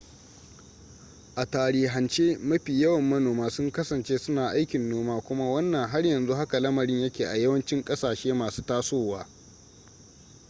a tarihance mafi yawan manoma sun kasance suna aikin noma kuma wannan har yanzu haka lamarin yake a yawancin ƙasashe masu tasowa